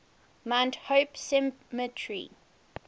mount hope cemetery